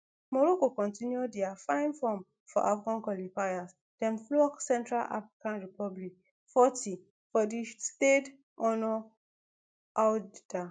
morocco continue dia fine form for afcon qualifiers dem flog central african republic forty for di stade honor oujda